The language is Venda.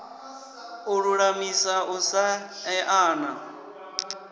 u lulamisa u sa eana